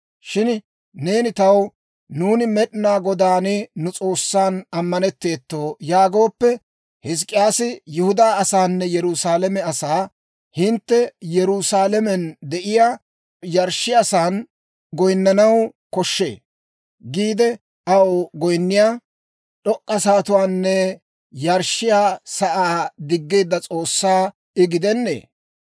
Shin neeni taw, «Nuuni Med'inaa Godaan, nu S'oossan, ammanetteeto» yaagooppe, Hizk'k'iyaasi Yihudaa asaanne Yerusaalame asaa, «Hintte Yerusaalamen de'iyaa yarshshiyaasan goyinnanaw koshshee» giide, aw goyinniyaa d'ok'k'a sa'atuwaanne yarshshiyaa sa'aa diggeedda S'oossaa I gidennee?